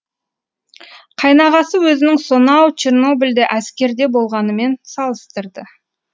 қайнағасы өзінің сонау чернобльде әскерде болғанымен салыстырды